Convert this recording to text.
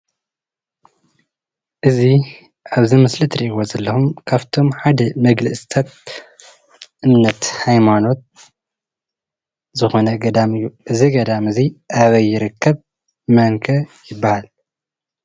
እዚ ኣብዚ ምስሊ እትርእይዎ ዘለኩም ካብቶም ሓደ መግለፅታት እምነተ ሃይማኖት ዝኮነ ገዳም እዩ። እዚ ገዳም እዙይ ኣበይ ይረከብ? መን ከ ይባሃል?